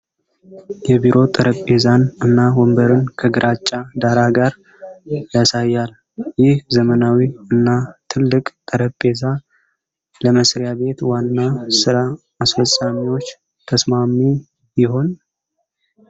የቢሮ ጠረጴዛን እና ወንበርን ከግራጫ ዳራ ጋር ያሳያል። ይህ ዘመናዊ እና ትልቅ ጠረጴዛ ለመሥሪያ ቤት ዋና ሥራ አስፈፃሚዎች ተስማሚ ይሆን?